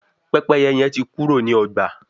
Pẹ́pẹ́yẹ hẹn tí Kúrò ní ọgba